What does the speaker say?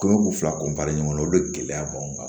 Komi kun fila ɲɔgɔnna olu de gɛlɛya b'anw kan